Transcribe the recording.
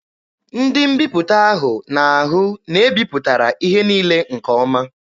Ndị mbiputa ahụ na-ahụ na e bipụtara ihe niile nke ọma.